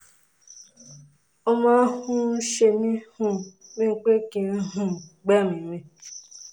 ó máa um ń ṣe mí um bíi pé kí n um gbẹ́mìí mì